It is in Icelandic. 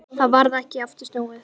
Það varð ekki aftur snúið.